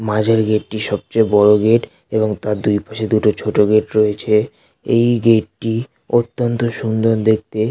মাঝের গেট -টি সবচেয়ে বড় গেট এবং তার দুই পাশে দুটো ছোট গেট রয়েছে এই গেট -টি অত্যন্ত সুন্দর দেখতে ।